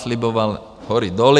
Slibovala hory doly.